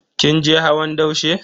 Kin je hawan daushe?